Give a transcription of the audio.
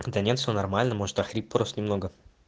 да нет все нормально может охрип просто немного